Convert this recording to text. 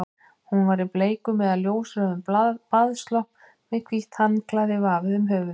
Hún var í bleikum eða ljósrauðum baðslopp með hvítt handklæði vafið um höfuðið.